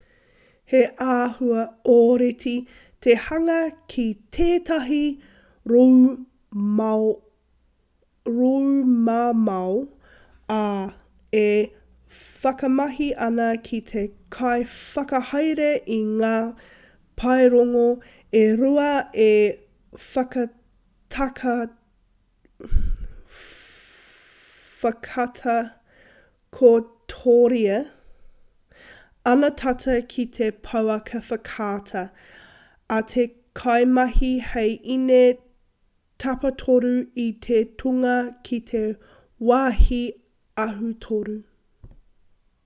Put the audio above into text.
he āhua ōrite te hanga ki tētahi roumamao ā e whakamahi ana te kaiwhakahaere i ngā paerongo e rua e whakatakotoria ana tata ki te pouaka whakaata a te kaimahi hei ine tapatoru i tana tūnga ki te wāhi ahu-toru